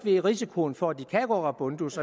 ikke risikoen for at de kan gå rabundus